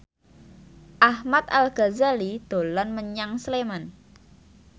Ahmad Al Ghazali dolan menyang Sleman